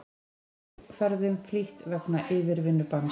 Flugferðum flýtt vegna yfirvinnubanns